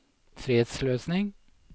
fredsløsning